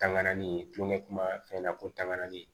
Tangani tulonkɛ kuma fɛn na ko tanganni